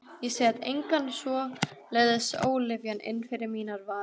Ég set enga svoleiðis ólyfjan inn fyrir mínar varir.